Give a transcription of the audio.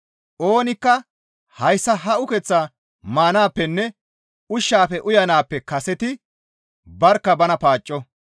Oonikka hayssa ha ukeththaa maanaappenne ushshaafe uyanaappe kaseti barkka bana paacco.